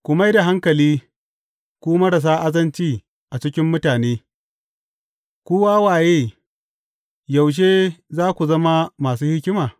Ku mai da hankali, ku marasa azanci a cikin mutane; ku wawaye, yaushe za ku zama masu hikima?